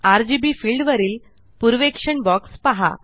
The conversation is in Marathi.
आरजीबी फिल्ड वरील पूर्वेक्षण बॉक्स पहा